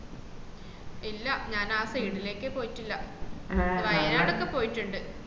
ഇല്ല ഞാൻ ആ side ലെക്കേ പോയിട്ടില്ല വായനാടൊക്കെ പോയിട്ടുണ്ട്